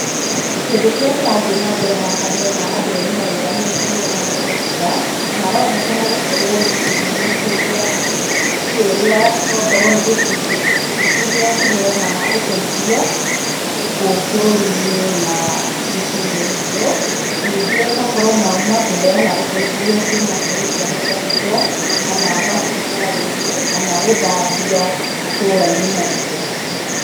Kĩndũ kĩrĩa kĩrathiĩ na mbere haha ndĩrona andũ erĩ marũgamĩte nĩguo mahũrwo mbica, na maronekana gũkorwo gĩkundi-inĩ kĩrĩa to korwo nĩ gĩkundĩ kĩrĩa kĩheanaga ũteithio gũkũ bũrũri-inĩ, na mĩciĩ-inĩ itũ, ningĩ to korwo mauma kũheana ũteithio kuuma kũrĩ ciana cia ndigwa, kana mathibitarĩ-inĩ, kana gũthambia matũra-inĩ maitũ.